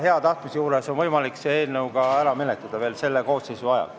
Hea tahtmise korral on võimalik see eelnõu ära menetleda veel selle koosseisu ajal.